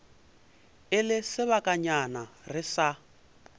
e le sebakanyana re sa